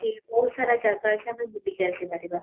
ଅଛି ବହୁତ ସାରା ଜାଗା ଅଛି ଆମେ ବୁଲିକି ଆସି ପାରିବା